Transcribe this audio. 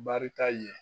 Barika ye